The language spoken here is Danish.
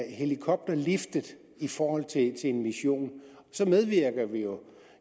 en helikopter liftet i forhold til en mission så medvirker vi jo